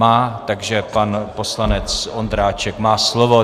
Má, takže pan poslanec Ondráček má slovo.